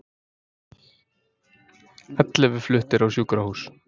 Ellefu fluttir á sjúkrahús